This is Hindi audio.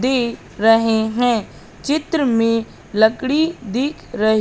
दिख रहे है चित्र में लकड़ी दिख र--